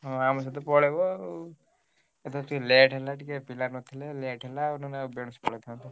ହଁ ଆମେ ସହିତ ପଳେଇବ ଆଉ। ଏଥର ଟିକେ late ହେଲା ଟିକେ ପିଲା ନଥିଲେ late ହେଲା ଆଉ ନହେଲେ ବେଳସୁ ଯାଇଥାନ୍ତୁ।